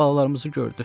Balalarımızı gördü.